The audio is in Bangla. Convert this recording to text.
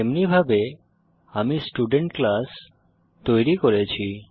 এমনিভাবে আমি স্টুডেন্ট ক্লাস তৈরি করেছি